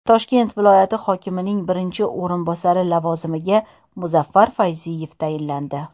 Toshkent viloyati hokimining birinchi o‘rinbosari lavozimiga Muzaffar Fayziyev tayinlandi.